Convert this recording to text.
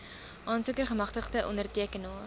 aansoeker gemagtigde ondertekenaar